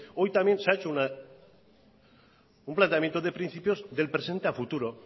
hoy también se ha hecho un planteamiento de principios de presente a futuro